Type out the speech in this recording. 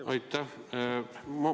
Aitäh!